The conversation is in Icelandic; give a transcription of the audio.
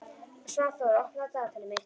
Svanþór, opnaðu dagatalið mitt.